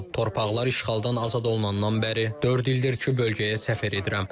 Torpaqlar işğaldan azad olunandan bəri dörd ildir ki, bölgəyə səfər edirəm.